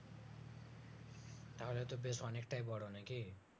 তাহলে তো বেশ অনেকটাই বরো নাকি